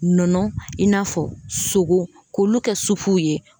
Nɔnɔ in n'a fɔ sogo k'olu kɛ supuw ye